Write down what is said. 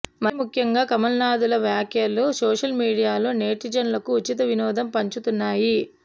మరీ ముఖ్యంగా కమలనాథుల వ్యాఖ్యలు సోషల్ మీడియాలో నెటిజన్లకు ఉచిత వినోదం పంచుతున్నాయి